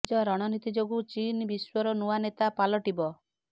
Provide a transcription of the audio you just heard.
ନିଜ ରଣନୀତି ଯୋଗୁଁ ଚୀନ ବିଶ୍ୱର ନୂଆ ନେତା ପାଲଟିବ